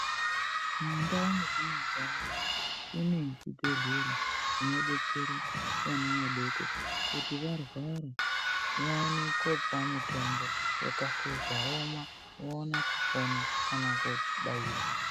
Mundau mwetinogara kune zvibhedhlera zvinodetsera vana vadoko kuti varwara vaone kopuwa mitombo yakahluzwa vomwa vaone kupona kana kobairwa.